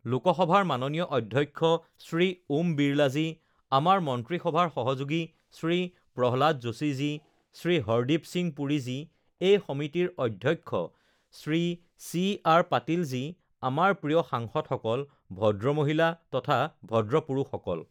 লোকসভাৰ মাননীয় অধ্যক্ষ শ্ৰী ওম বিৰলাজী, আমাৰ মন্ত্ৰীসভাৰ সহযোগী শ্ৰী প্ৰহ্লাদ যোশীজী, শ্ৰী হৰদীপ সিং পুৰীজী, এই সমিতিৰ অধ্যক্ষ শ্ৰী চি আৰ পাটিলজী, আমাৰ প্ৰিয় সাংসদসকল, ভদ্ৰমহিলা তথা ভদ্ৰপুৰুষসকল!